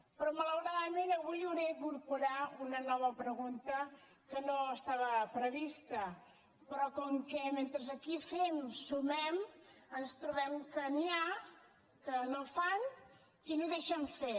però malauradament avui hauré d’incorporar una nova pregunta que no estava prevista però com que mentre aquí fem sumem ens trobem que n’hi ha que no fan i no deixen fer